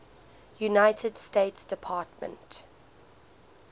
united states department